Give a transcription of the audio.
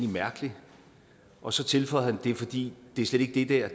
mærkeligt og så tilføjede han det er fordi det slet ikke er